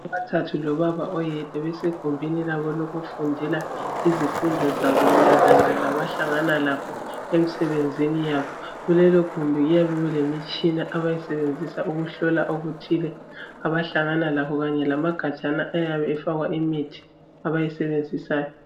Abathathu lobaba oyedwa basegumbini labo lokufundela izifundo zabo mayelana labahlangana lakho emsebenzini yabo kulelogumbi kuyabe kulemitshina abayisebenzisa ukuhlola okuthile abahlangana lakho kanye lamagajana ayabe efakwa imithi abayisebenzisayo